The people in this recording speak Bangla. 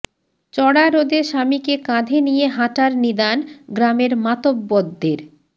চড়া রোদে স্বামীকে কাঁধে নিয়ে হাঁটার নিদান গ্রামের মাতব্বরদের